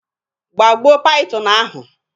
gbagbuo python ahụ!